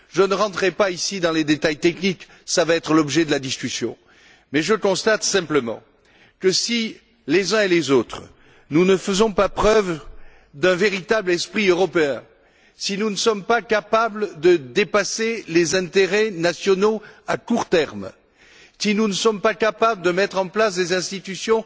Je ne rentrerai pas ici dans les détails techniques tel sera l'objet de la discussion mais je constate simplement que si les uns et les autres, nous ne faisons par preuve d'un véritable esprit européen, si nous ne sommes pas capables de dépasser les intérêts nationaux à court terme, si nous ne sommes pas capables de mettre en place des institutions